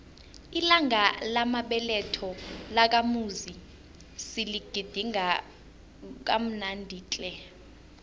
ilanga lamabeletho lakamuzi siligidinge kamnandi tle